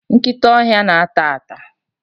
nkịta ọhịa na-ata ata